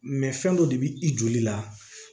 fɛn dɔ de bi i joli la